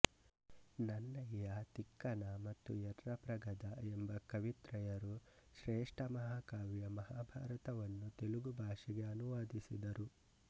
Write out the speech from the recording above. ನನ್ನಯ್ಯ ತಿಕ್ಕನ ಮತ್ತು ಯರ್ರಾಪ್ರಗದ ಎಂಬ ಕವಿತ್ರಯರು ಶ್ರೇಷ್ಠ ಮಹಾಕಾವ್ಯ ಮಹಾಭಾರತ ವನ್ನು ತೆಲುಗು ಭಾಷೆಗೆ ಅನುವಾದಿಸಿದರು